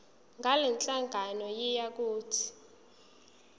ngalenhlangano yiya kut